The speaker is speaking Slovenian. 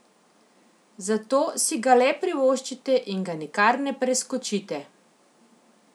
Zato si ga le privoščite in ga nikar ne preskočite!